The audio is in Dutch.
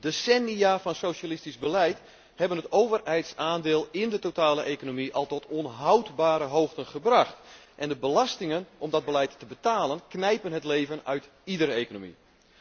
Decennia van socialistisch beleid hebben het overheidsaandeel in de totale economie al tot onhoudbare hoogten gebracht en de belastingen om dat beleid te betalen knijpen het leven uit iedere economie.